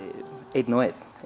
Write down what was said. einn og einn